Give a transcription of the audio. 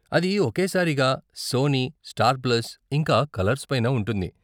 అది ఒకే సారిగా సోనీ, స్టార్ ప్లస్, ఇంకా కలర్స్ పైన ఉంటుంది.